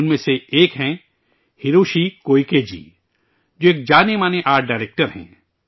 ان میں سے ایک ہیں ہیروشی کوئیکے جی، جو ایک معروف آرٹ ڈائرکٹر ہیں